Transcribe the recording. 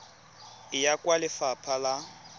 e ya kwa lefapha la